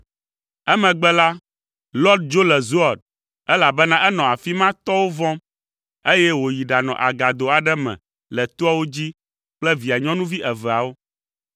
Emegbe la, Lot dzo le Zoar, elabena enɔ afi ma tɔwo vɔ̃m, eye wòyi ɖanɔ agado aɖe me le toawo dzi kple via nyɔnuvi eveawo.